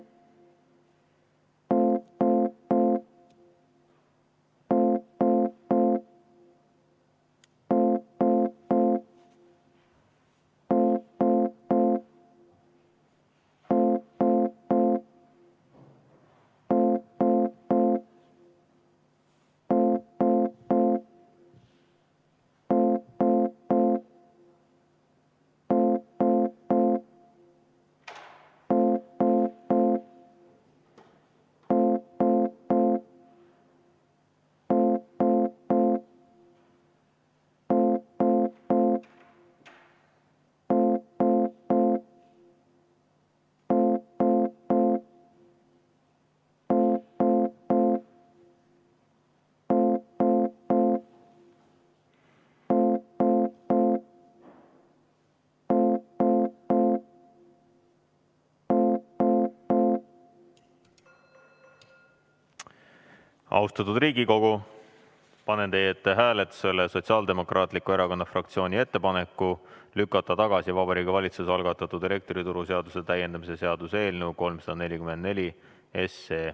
Austatud Riigikogu, panen teie ette hääletusele Sotsiaaldemokraatliku Erakonna fraktsiooni ettepaneku lükata tagasi Vabariigi Valitsuse algatatud elektrituruseaduse täiendamise seaduse eelnõu 344.